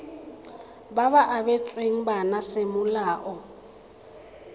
ba ba abetsweng bana semolao